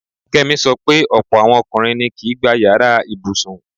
Kẹ́mi sọ pé ọ̀pọ̀ àwọn ọkùnrin ni kìí gbá yàrá ibùsùn.